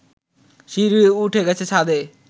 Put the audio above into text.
সিঁড়ি উঠে গেছে ছাদে